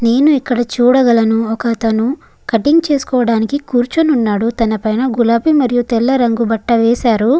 నేను ఇక్కడ చూడగలను ఒక అతను కటింగ్ చేస్కొడానికి కూర్చుని ఉన్నాడు తనపైన గులాబీ మరియు తెల్ల రంగు బట్ట వేసారు --